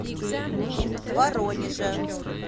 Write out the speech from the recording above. воронежа